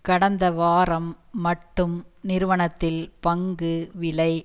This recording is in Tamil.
கடந்த வாரம் மட்டும் நிறுவனத்தில் பங்கு விலை